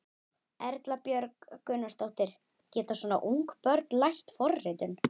Erla Björg Gunnarsdóttir: Geta svona ung börn lært forritun?